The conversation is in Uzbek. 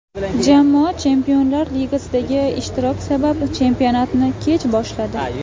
Jamoa Chempionlar Ligasidagi ishtirok sabab chempionatni kech boshladi.